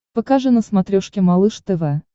покажи на смотрешке малыш тв